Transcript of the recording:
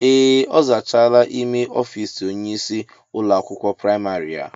Ee, ọ zachaala ímé ọfiisi onye ịsị ụlọ akwụkwọ praịmarị a.